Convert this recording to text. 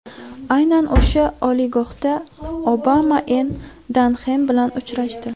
Aynan o‘sha oliygohda Obama Enn Danxem bilan uchrashdi.